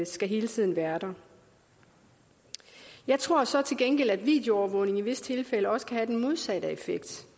skal hele tiden være der jeg tror så til gengæld at videoovervågning i visse tilfælde også kan have den modsatte effekt